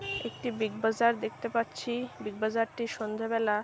একটি বিগ বাজার দেখতে পাচ্ছি-ই বিগ বাজার -টি সন্ধ্যেবেলা-আ--